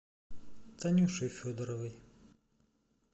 танюшей федоровой